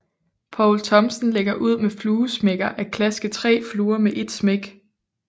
Poul Thomsen lægger ud med fluesmækker at klaske 3 fluer med et smæk